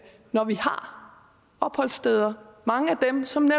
når vi har opholdssteder mange af dem som